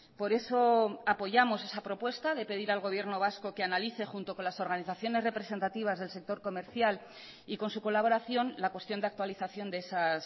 por eso apoyamos esa propuesta de pedir al gobierno vasco que analice junto con las organizaciones representativas del sector comercial y con su colaboración la cuestión de actualización de esas